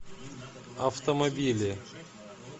автомобили